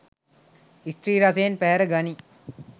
ස්ත්‍රී රසයෙන් පැහැර ගනියි.